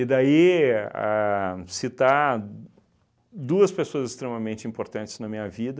daí, ahn citar duas pessoas extremamente importantes na minha vida,